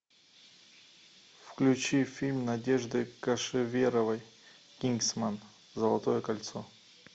включи фильм надежды кошеверовой кингсман золотое кольцо